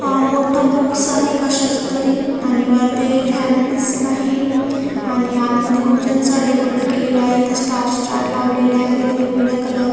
मोठं बुक्स आहे कशाचं तरी आणि वर ते फॅन दिसत आहे आणि आतमधे खूप छानसं डेकोरेट केलेलं आहे इथं स्टार लावलेले आहेत वेगवेगळ्या कलर --